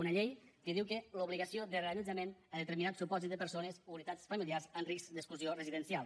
una llei que diu l’obligació de reallotjament en determinats supòsits de persones o unitats familiars en risc d’exclusió residencial